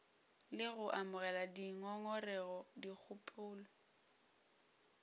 le go amogela dingongorego dikgopelo